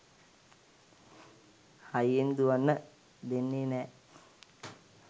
හයියෙන් දුවන්න දෙන්නේ නෑ